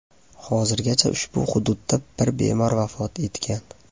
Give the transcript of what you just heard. Hozirgacha ushbu hududda bir bemor vafot etgan .